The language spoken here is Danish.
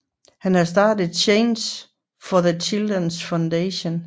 Han har startet Change for the Children Foundation